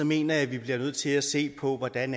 mener jeg at vi bliver nødt til at se på hvordan